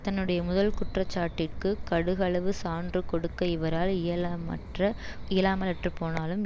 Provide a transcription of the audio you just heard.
தன்னுடைய முதல் குற்ற சாட்டிற்கு கடுகளவு சான்று கொடுக்க இவரால் இயலாமற்ற இயலாமலற்றுப் போனாலும்